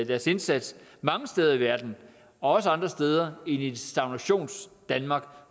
deres indsats mange steder i verden også andre steder i stagnationsdanmark